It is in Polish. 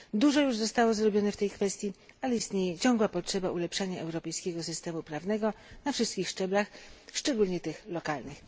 Dużo już zostało zrobione w tej kwestii, ale istnieje ciągła potrzeba ulepszania europejskiego systemu prawnego na wszystkich szczeblach, szczególnie tych lokalnych.